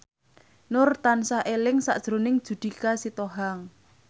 Nur tansah eling sakjroning Judika Sitohang